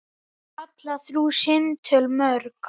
Hún kallar þrjú símtöl mörg.